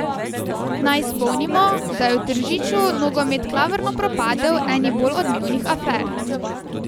Naj spomnimo, da je v Tržiču nogomet klavrno propadel v eni bolj odmevnih afer.